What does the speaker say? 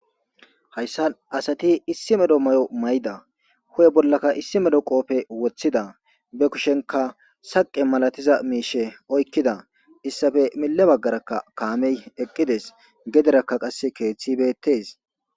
Hayssa asati issi medo may'o mayda hu'e bollaka issi medo qoofe woththida be kushenka saqe malatiza miishe oykkida issafe mille baggarakka kaamey eqqides gederakka qasse keeththibettes.